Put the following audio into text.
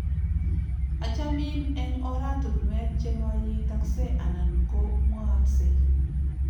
achamin eng' oratunuek chemaitaksei anan ko mwaaksei